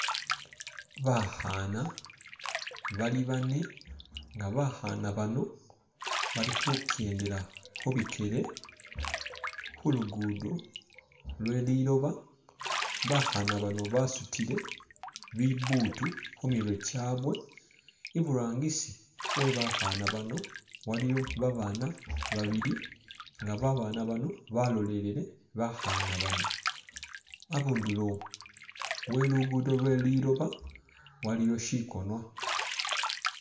Bakhana bali bane nga bakhana bano bali khukendela khubikele khulugudo lweliloba bakhana bano basutile bibutu khumirwe kyabwe i'burangisi webakhana bano waliyo babana babili nga babana bano balolelele bakhana bano abundulo we'lugudo lweliloba waliwo shigonwa